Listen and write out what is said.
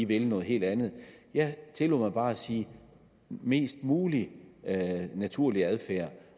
vil noget helt andet jeg tillod mig bare at sige mest mulig naturlig adfærd